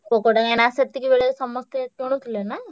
Poco କଣ ସେତିକି ବେଳେ ସମସ୍ତେ କିନଉଥିଲେ ନାଁ?